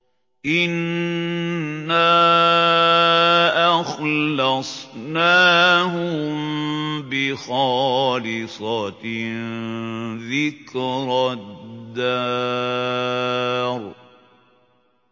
إِنَّا أَخْلَصْنَاهُم بِخَالِصَةٍ ذِكْرَى الدَّارِ